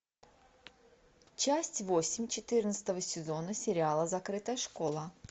часть восемь четырнадцатого сезона сериала закрытая школа